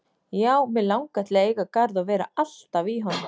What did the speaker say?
Já, mig langar til að eiga garð og vera alltaf í honum.